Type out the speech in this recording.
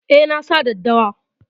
Eh, nasa daddawa